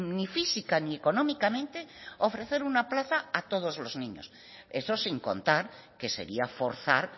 ni física ni económicamente ofrecer una plaza a todos los niños eso sin contar que sería forzar